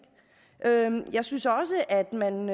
jeg synes også at man